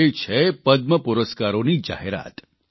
એ છે પદ્મપુરસ્કારોની જાહેરાત